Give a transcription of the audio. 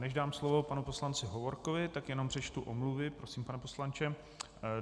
Než dám slovo panu poslanci Hovorkovi, tak jenom přečtu omluvy, prosím, pane poslanče.